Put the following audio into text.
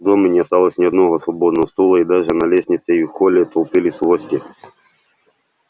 в доме не осталось ни одного свободного стула и даже на лестнице и в холле толпились гости